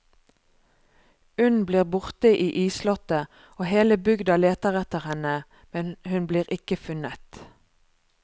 Unn blir borte i isslottet og hele bygda leter etter henne, men hun blir ikke funnet.